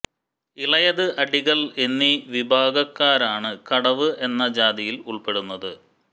ഇളയത് അടികൾ എന്നീ വിഭാഗക്കാരാണ് കടവ് എന്ന ജാതിയിൽ ഉൾപ്പെടുന്നത്